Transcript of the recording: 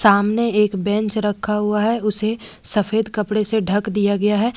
सामने एक बेंच रखा हुआ है उसे सफेद कपड़े से ढक दिया गया है।